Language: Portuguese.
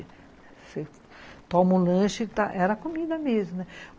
Você toma um lanche e tá... era comida mesmo, né?